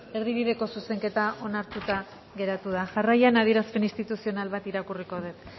erdi bideko zuzenketa onartuta geratu da jarraian adierazpen instituzional bat irakurriko dut